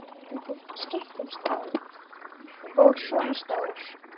Og svona stór!